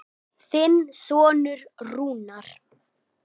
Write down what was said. Þinn sonur Rúnar.